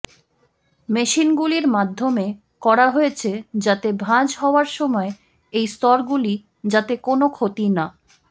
মেশিনগুলির মাধ্যমে করা হয়েছে যাতে ভাঁজ হওয়ার সময় এই স্তরগুলি যাতে কোনও ক্ষতি না